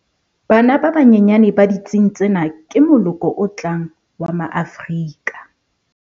Bana ba banyenyane ba ditsing tsena ke moloko o tlang wa Maafrika